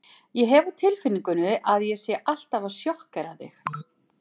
Ég hef á tilfinningunni að ég sé alltaf að sjokkera þig.